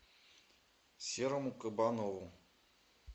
серому кабанову